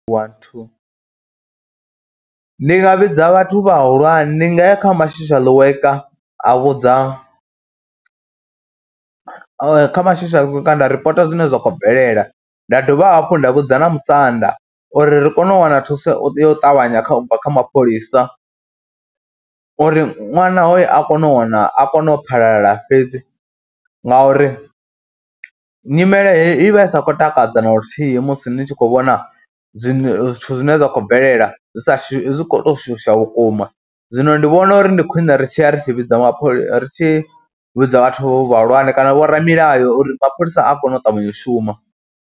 Ndi nga vhidza vhathu vhahulwane, ndi nga ya kha ma social worker a vhudza kha ma social worker nda ripota zwine zwa khou bvelela, nda dovha hafhu nda vhudza na musanda uri ri kone u wana thuso yo u ṱavhanya kha u bva kha mapholisa uri ṅwana hoyo a kono u wana, a kone u phalala fhedzi ngauri nyimele heyo i vha i sa khou takadza na luthihi musi ni tshi khou vhona, zwiṅwe zwithu zwine zwa khou bvelela zwi sa shu zwi khou tou shusha vhukuma. Zwino ndi vhona uri ndi khwiṋe ri tshi ya ri tshi vhidza mapholisa, ri tshi vhidza vhathu vhahulwane kana vho ramilayo uri mapholisa a kone u ṱavhanya u shuma.